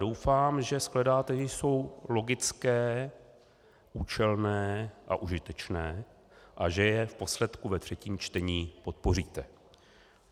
Doufám, že shledáte, že jsou logické, účelné a užitečné, a že je v posledku ve třetím čtení podpoříte.